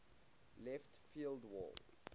left field wall